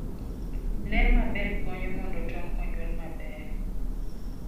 Ler maber konyo mondo tong' onyuol maber.